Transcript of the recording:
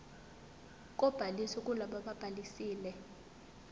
kobhaliso kulabo ababhalisile